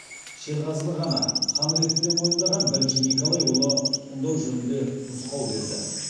шерғазыны ғана хан ретінде мойындаған бірінші николай оны тұтқындау жөнінде нұсқау берді